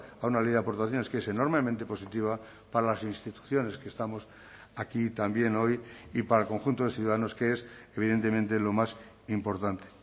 a una ley de aportaciones que es enormemente positiva para las instituciones que estamos aquí también hoy y para el conjunto de ciudadanos que es evidentemente lo más importante